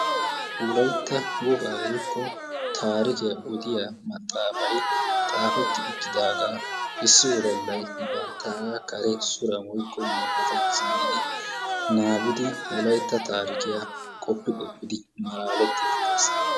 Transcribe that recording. Wolayitta wogaa woyikko taarikiya odiya maxaafay xaafetti uttidaagaa issi wodallay banttaagaa kare suran woyikko maataan zin'idi wolayitta taarikiya qoppi qoppidi malaalettiiddi de"es.